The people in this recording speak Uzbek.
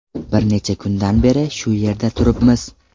Bir necha kundan beri shu yerda turibmiz.